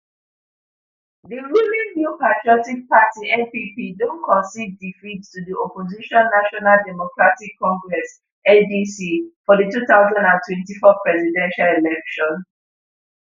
di ruling new patriotic party npp don concede defeat to di opposition national democratic congress ndc for di two thousand and twenty-four presidential election